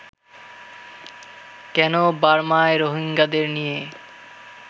কেন বার্মায় রোহিঙ্গাদের নিয়ে